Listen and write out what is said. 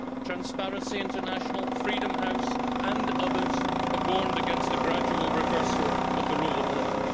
Transparency International, Freedom House and others have warned against the gradual reversal of the rule of law.